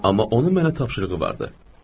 Amma onun mənə tapşırığı vardı.